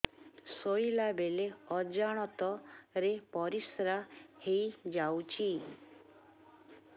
ଶୋଇଲା ବେଳେ ଅଜାଣତ ରେ ପରିସ୍ରା ହେଇଯାଉଛି